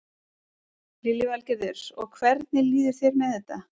Lillý Valgerður: Og hvernig líður þér með þetta?